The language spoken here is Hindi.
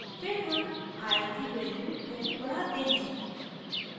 फिर हम i की value 2 बढाते हैं